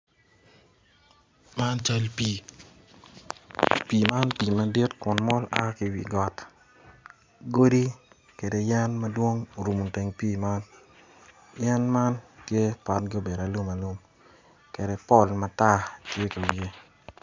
Man cal pii pii man pii madit kun mol a ki iwi got godi kede yen madwong orumo teng pii man yen man tye potgi obedo alumalum kede pol matar tye iwiye.